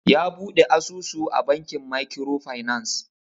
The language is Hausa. Ya Buɗe asusu a bankin makiro finas